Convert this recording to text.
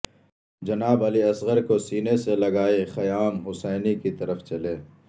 جناب علی اصغر کو سینے سے لگائے خیام حسینی کی طرف چلے